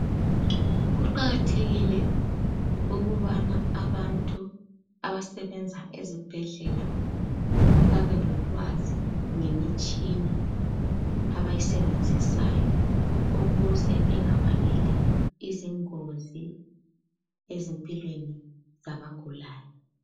kuqakathekile ukubana abantu abasebenza ezibhedlela babelolwazi ngemitshina abayisebenzisayo ukuze bengabangeli izingozi ebantwini abagulayo